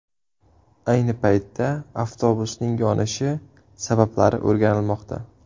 Ayni paytda avtobusning yonishi sabablari o‘rganilmoqda.